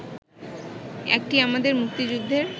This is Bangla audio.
একটি আমাদের মুক্তিযুদ্ধের